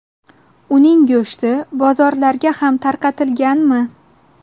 Uning go‘shti bozorlarga ham tarqatilganmi?